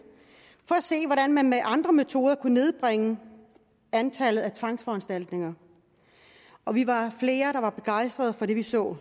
for at se hvordan man med andre metoder kunne nedbringe antallet af tvangsforanstaltninger og vi var flere der var begejstrede for det vi så